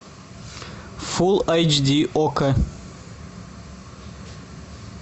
фул айч ди окко